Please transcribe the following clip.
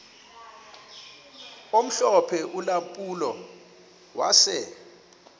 omhlophe ulampulo wase